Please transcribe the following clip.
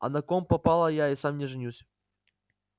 а на ком попало я и сам не женюсь